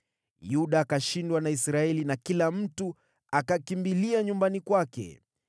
Yuda ikashindwa na Israeli na kila mtu akakimbilia nyumbani kwake.